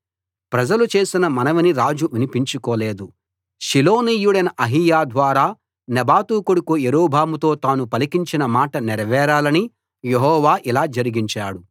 ప్రజలు చేసిన మనవిని రాజు వినిపించుకోలేదు షిలోనీయుడైన అహీయా ద్వారా నెబాతు కొడుకు యరొబాముతో తాను పలికించిన మాట నెరవేరాలని యెహోవా ఇలా జరిగించాడు